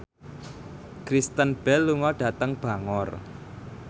Kristen Bell lunga dhateng Bangor